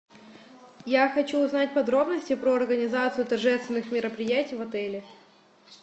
я хочу узнать подробности про организацию торжественных мероприятий в отеле